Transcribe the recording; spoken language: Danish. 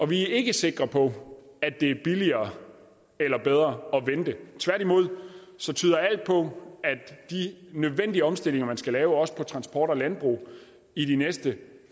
vi er ikke sikre på at det er billigere eller bedre at vente tværtimod tyder alt på at de nødvendige omstillinger man skal lave også inden for transport og landbrug i de næste